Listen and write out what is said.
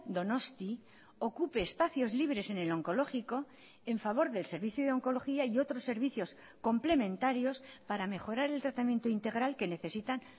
donosti ocupe espacios libres en el oncológico en favor del servicio de oncología y otros servicios complementarios para mejorar el tratamiento integral que necesitan